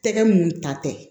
Tɛgɛ mun ta tɛ